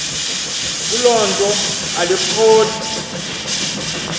kuloo nto alikroti